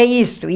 É isto.